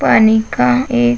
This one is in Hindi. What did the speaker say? पानी का एक --